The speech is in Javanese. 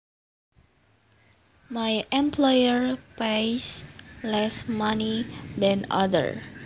My employer pays less money than other